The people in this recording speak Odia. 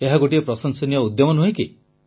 ଏହା ଗୋଟିଏ ପ୍ରଶଂସନୀୟ ଉଦ୍ୟମ ନୁହେଁ କି